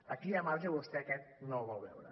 aquí hi ha marge i vostè aquest no el vol veure